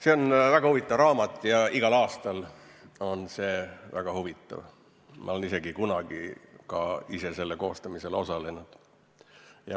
See on väga huvitav raamat, igal aastal on see väga huvitav, ma olen isegi kunagi ka ise selle koostamisel osalenud.